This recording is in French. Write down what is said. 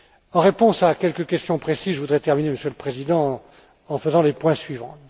En réponse à quelques questions précises, je voudrais terminer, Monsieur le Président, en évoquant les points suivants.